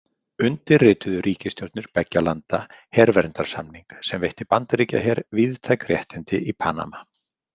Undirrituðu ríkisstjórnir beggja landa „herverndarsamning“ sem veitti Bandaríkjaher víðtæk réttindi í Panama.